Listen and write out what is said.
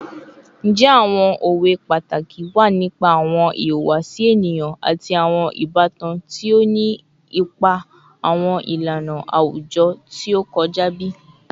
Njẹ awọn owe pataki wa nipa awọn ihuwasi eniyan ati awọn ibatan ti o ni ipa awọn ilana awujọ ti o kọja bi?